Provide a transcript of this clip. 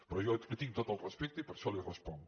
però jo li tinc tot el respecte i per això li responc